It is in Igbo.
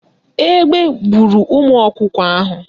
Egbe buuru ụmụ ọkụkọ anyị.